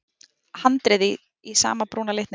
Handriðið í sama brúna litnum.